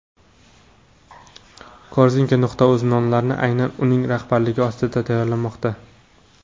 korzinka.uz nonlari aynan uning rahbarligi ostida tayyorlanmoqda.